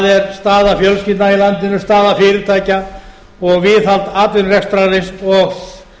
er staða fjölskyldna í landinu staða fyrirtækja og viðhald atvinnurekstrarins og